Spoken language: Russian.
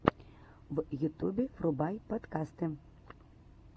в ютубе врубай подкасты